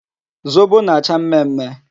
Zobo na-acha mmemme.